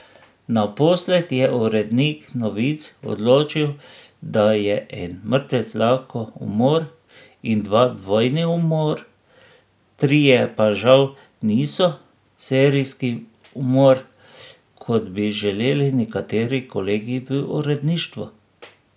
Naposled je urednik novic odločil, da je en mrtvec lahko umor in dva dvojni umor, trije pa žal niso serijski umor, kot bi želeli nekateri kolegi v uredništvu.